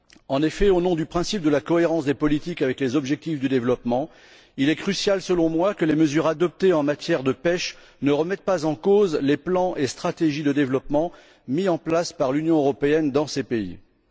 En effet, au nom du principe de la cohérence des politiques avec les objectifs du développement, il est crucial, selon moi, que les mesures adoptées en matière de pêche ne remettent pas en cause les plans et stratégies de développement mis en place par l'Union européenne dans les pays concernés.